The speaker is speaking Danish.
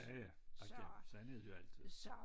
Ja ja igen sådan er det jo altid